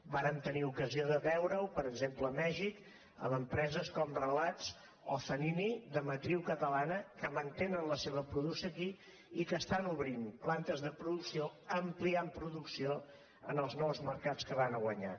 vàrem tenir ocasió de veure ho per exemple a mèxic amb empreses com relats o zanini de matriu catalana que mantenen la seva producció aquí i que estan obrint plantes de producció ampliant producció en els nous mercats que van a guanyar